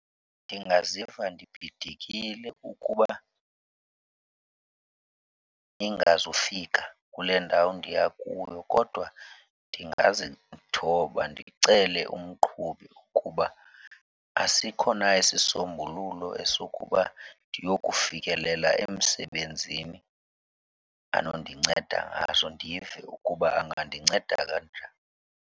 Ndingaziva nibhidekile ukuba ndingazufika kule ndawo ndiya kuyo kodwa ndingazithoba ndicele umqhubi ukuba asikho na isisombululo esokuba ndiyofikelela emsebenzini anondinceda ngaso. Ndive ukuba angandinceda kanjani.